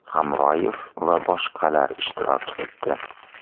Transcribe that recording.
Hamroyev va boshqalar ishtirok etdi.